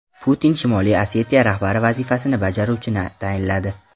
Putin Shimoliy Osetiya rahbari vazifasini bajaruvchini tayinladi.